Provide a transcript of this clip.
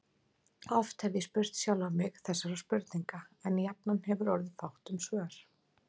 Oft hef ég spurt sjálfan mig þessara spurninga, en jafnan hefur orðið fátt um svör.